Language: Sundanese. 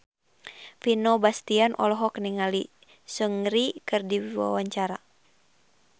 Vino Bastian olohok ningali Seungri keur diwawancara